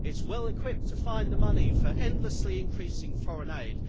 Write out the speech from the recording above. It's well equipped to find the money for endlessly increasing foreign aid.